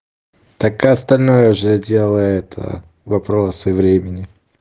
как и остальное же дело это вопрос времени